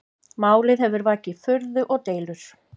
Málið hefur vakið furðu og deilur